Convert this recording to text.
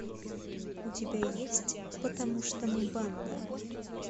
у тебя есть потому что мы банда